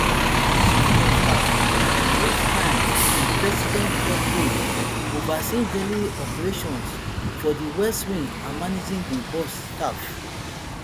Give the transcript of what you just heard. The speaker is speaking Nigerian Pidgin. di chief of staff na most times di president top aide overseeing daily operations for di west wing and managing di boss staff